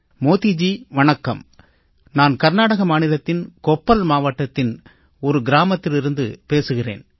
மோடிஜி வணக்கம் நான் கர்நாடக மாநிலத்தின் கொப்பல் மாவட்டத்தின் ஒரு கிராமத்திலிருந்து பேசுகிறேன்